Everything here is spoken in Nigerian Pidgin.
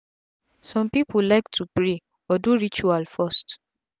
sum pipu lyk to pray or do ritual first